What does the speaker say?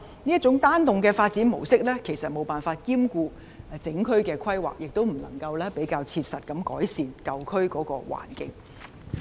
這種單幢的發展模式無法兼顧整區的規劃，亦不能夠比較切實地改善舊區的環境。